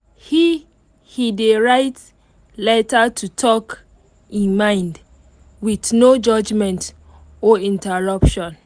he he dey write letter to talk e mind with no judgement or interruption